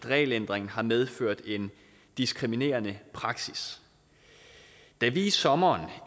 regelændringen har medført en diskriminerende praksis da vi i sommeren